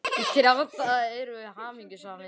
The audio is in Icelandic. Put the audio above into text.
Í þrjá daga erum við hamingjusamar.